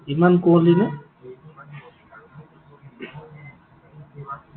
ইমান কুঁৱলী নে?